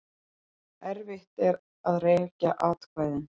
Erfitt að rekja atkvæðin